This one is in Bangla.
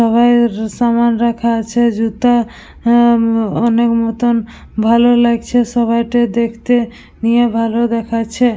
সবাইয়ের সমান রাখা আছে জুতা আহ ম অনেক মতন ভালো লাগছে সবাইটে দেখতে নিয়ে ভালো দেখাচ্ছে-এ।